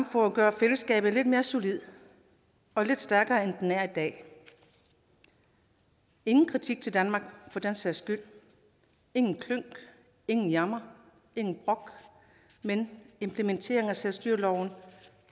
for at gøre fællesskabet lidt mere solidt og lidt stærkere end det er i dag ingen kritik af danmark for den sags skyld ingen klynk ingen jammer intet brok men implementering af selvstyreloven